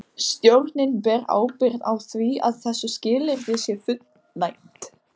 Stjórnin ber ábyrgð á því að þessu skilyrði sé fullnægt.